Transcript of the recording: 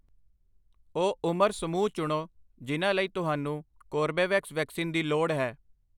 ਉਹ ਉਮਰ ਸਮੂਹ ਚੁਣੋ ਜਿਨ੍ਹਾਂ ਲਈ ਤੁਹਾਨੂੰ ਕੋਰਬੇਵੈਕਸ ਵੈਕਸੀਨ ਦੀ ਲੋੜ ਹੈ।